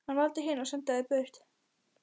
Hann valdi hina og sendi þær burt.